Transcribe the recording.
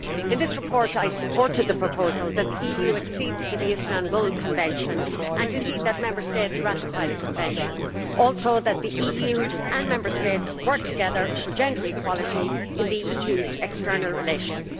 In this report, I supported the proposal that the EU accede to the Istanbul Convention and indeed that Member States ratify the Convention, and also that the EU and Member States work together for gender equality in the EU's external relations.